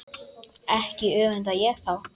Ekki öfunda ég þá